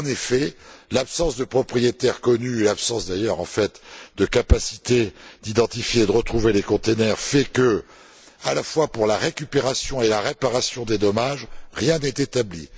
En effet, l'absence de propriétaire connu et l'absence, d'ailleurs, en fait, de capacité d'identifier et de retrouver les conteneurs font que, à la fois pour la récupération et la réparation des dommages, rien n'est établi.